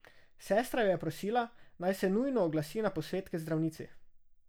Sestra jo je prosila, naj se nujno oglasi na posvet k zdravnici.